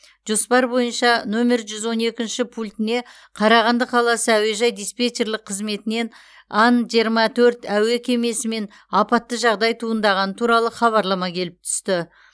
жоспар бойынша нөмір жүз он екінші пультіне қарағанды қаласы әуежай диспетчерлік қызметінен ан жиырма төрт әуе кемесімен апатты жағдай туындағаны туралы хабарлама келіп түсті